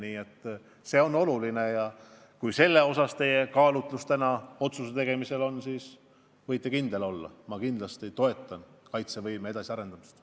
Nii et see on oluline ja kui see kaalutlus tänase otsuse tegemisel tähtis on, siis võite kindel olla, et ma kindlasti toetan kaitsevõime edasiarendamist.